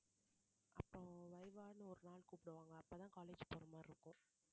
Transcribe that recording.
அப்பறம் VIVA ன்னு ஒரு நாள் கூப்பிடுவாங்க அப்பதான் college போற மாதிரி இருக்கும்